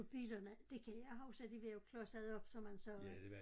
På bilerne det kan jeg huske de var jo klodset op som man sagde